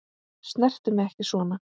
Snertu mig ekki svona.